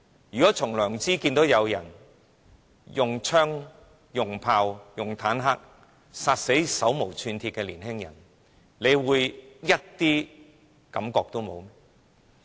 有良知的人看到有人用槍、用炮、用坦克殺死手無寸鐵的年輕人，會一點感覺也沒有嗎？